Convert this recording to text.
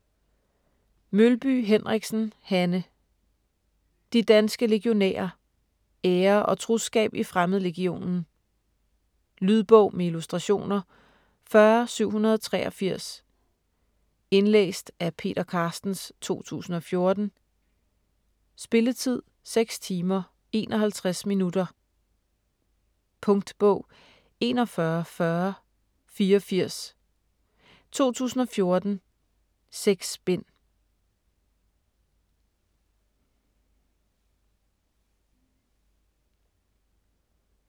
Mølby Henriksen, Hanne: De danske legionærer: ære og troskab i Fremmedlegionen Lydbog med illustrationer 40783 Indlæst af Peter Carstens, 2014. Spilletid: 6 timer, 51 minutter. Punktbog 414084 2014. 6 bind.